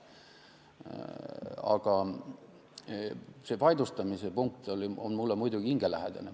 Aga see vaidlustamise punkt on mulle muidugi hingelähedane.